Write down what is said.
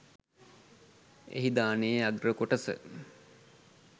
එහි දානයේ අග්‍ර කොටස